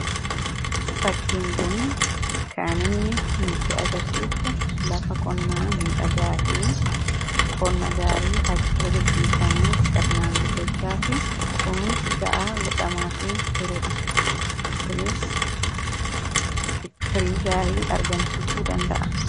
Fakkiin kun kan inni nutti agarsiisu, lafa qonnaa miidhagaafi qonna gaarii achirra gaggeeffamee sirnaan guddachaafi kunuunsi gahaan godhamaafi kunis firii gaarii argamsiisuu danda'a.